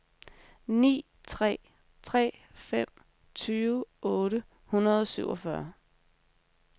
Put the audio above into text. ni tre tre fem tyve otte hundrede og syvogfyrre